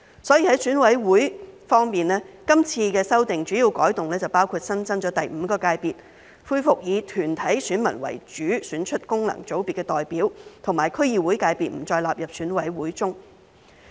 所以，在選委會方面，今次修訂的主要改動包括新增第五界別，恢復以團體選民為主，選出功能界別的代表，以及區議會界別不再納入選委會中。